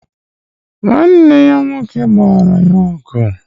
Nwanne ya nwoke gbara ya ọgụ.